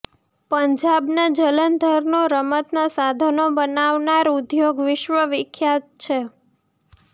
પંજાબના જલંધરનો રમત ના સાધનો બનાવનાર ઉદ્યોગ વિશ્વ વિખ્યાત છે